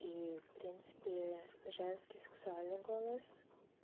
и в принципе женский сексуальный голос